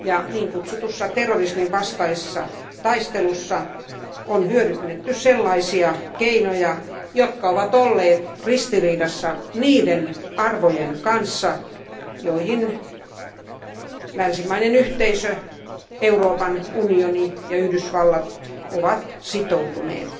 Niin kutsutussa terrorismin vastaisessa taistelussa on hyödynnetty sellaisia keinoja, jotka ovat olleet ristiriidassa niiden arvojen kanssa, joihin länsimainen yhteisö, Euroopan unioni ja Yhdysvallat ovat sitoutuneet.